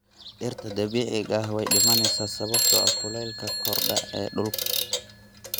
Dhirta dabiiciga ah way dhimanaysaa sababtoo ah kuleylka kordha ee dhulka.